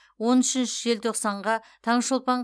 он үшінші желтоқсанға таңшолпан